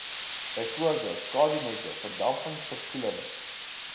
bv skadunette verdampingsverkoeling